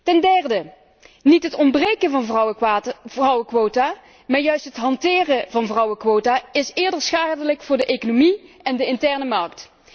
Ten derde niet het ontbreken van vrouwenquota, maar juist het hanteren van vrouwenquota is eerder schadelijk voor de economie en de interne markt.